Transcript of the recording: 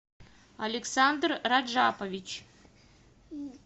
александр раджапович